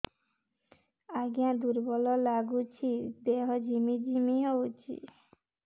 ଆଜ୍ଞା ଦୁର୍ବଳ ଲାଗୁଚି ଦେହ ଝିମଝିମ ହଉଛି